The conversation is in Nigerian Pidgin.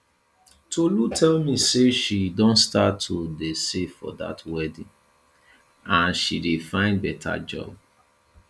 tolu tell me say she don start to dey save for dat wedding and she dey find better job